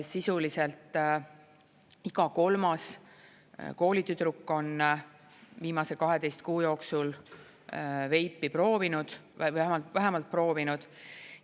Sisuliselt iga kolmas koolitüdruk on viimase 12 kuu jooksul veipi proovinud, vähemalt proovinud.